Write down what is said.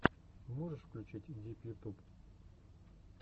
можешь включить дип ютуб